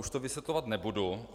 Už to vysvětlovat nebudu.